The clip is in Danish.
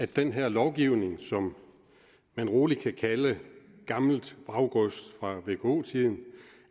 den her lovgivning som man rolig kan kalde gammelt vraggods fra vko tiden